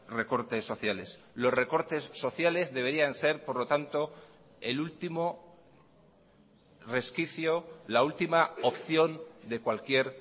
recortes sociales los recortes sociales deberían ser por lo tanto el último resquicio la última opción de cualquier